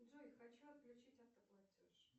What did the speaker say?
джой хочу отключить автоплатеж